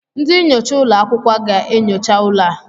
Ndị nyocha ụlọ akwụkwọ ga-enyocha ụlọ a?